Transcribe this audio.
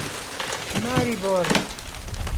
Maribor.